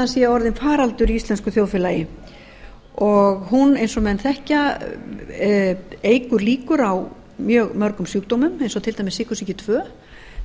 offitan sé orðinn faraldur í íslensku þjóðfélagi en hún eins og menn þekkja eykur líkur á mjög mörgum sjúkdómum eins og til dæmis sykursýki tvö